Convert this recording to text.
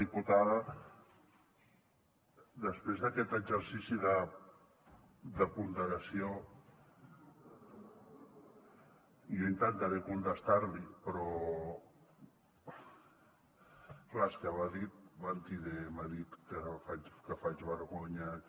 diputada després d’aquest exercici de ponderació jo intentaré contestar li però clar és que m’ha dit mentider m’ha dit que faig vergonya que